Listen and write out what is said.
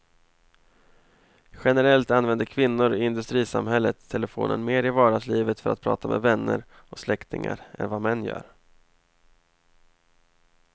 Generellt använder kvinnor i industrisamhället telefonen mer i vardagslivet för att prata med vänner och släktingar än vad män gör.